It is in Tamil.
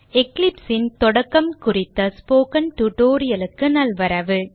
Eclipse ன் தொடக்கம் குறித்த ஸ்போக்கன் tutorial க்கு நல்வரவு